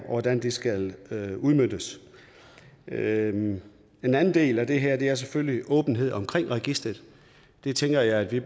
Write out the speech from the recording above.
hvordan det skal udmøntes en anden del af det her er selvfølgelig åbenhed om registeret jeg tænker at vi